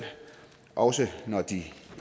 også når de